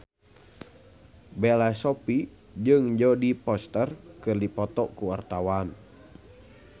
Bella Shofie jeung Jodie Foster keur dipoto ku wartawan